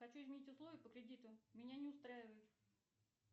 хочу изменить условия по кредиту меня не устраивают